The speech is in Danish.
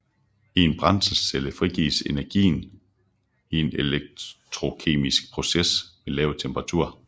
I en brændselscelle frisættes energien i en elektrokemisk proces ved lav temperatur